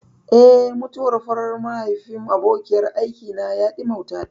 Eh, mutuwar farar watan mahaifin abokiyar aikina ya ɗimautata.